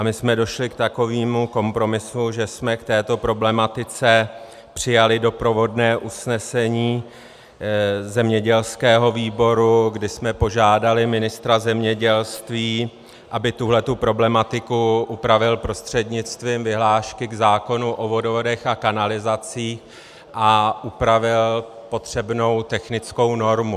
A my jsme došli k takovému kompromisu, že jsme k této problematice přijali doprovodné usnesení zemědělského výboru, kde jsme požádali ministra zemědělství, aby tuhle problematiku upravil prostřednictvím vyhlášky k zákonu o vodovodech a kanalizacích a upravil potřebnou technickou normu.